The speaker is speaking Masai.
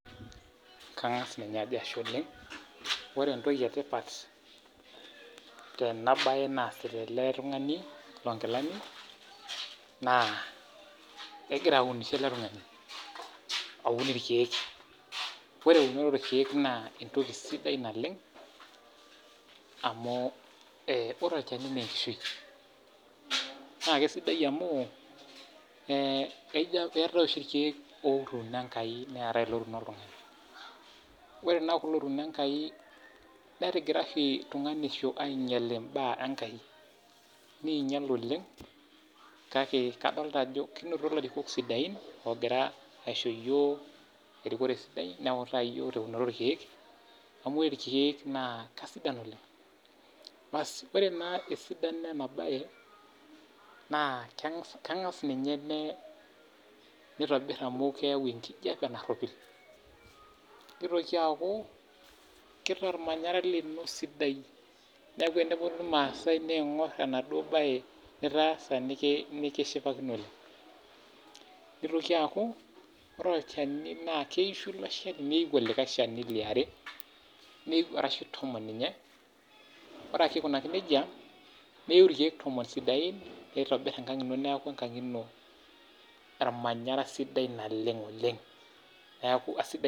Kang'as ninye ajo ashe oleng'. Ore entoki etipat, tenabae naasita ele tung'ani lonkilani, naa egira aunisho ele tung'ani. Aun irkeek. Ore eunoto orkeek naa entoki sidai naleng', amu ore olchani neenkishui. Naa kesidai amuu, eetae oshi irkeek otuuno Enkai neetae ilotuuno oltung'ani. Ore naa kulo otuuno Enkai, netigira oshi tung'anisho ainyel imbaa enkai. Niinyal oleng',kake kadolta ajo kinoto ilarikok sidain, ogira aisho yiok erikore sidai, neutaa yiok teunoto orkeek, amu ore irkeek naa kasidan oleng'. Basi, ore naa esidano enabae, naa keng'as ninye nitobir amu keeu enkijape narropil. Nitoki aku, kitaa ormanyara lino sidai. Neeku eneponu irmaasai niing'or enaduo bae nitaasa, nikishipakino. Nitoki aku, ore olchani naa keisho ilo shani neu olikae shani liare, arashu tomon ninye, ore ake aikunaki nejia, neu irkeek tomon sidain, nitobir enkang',neeku enkang' ino ormanyara sidai naleng' oleng'. Neeku asidai.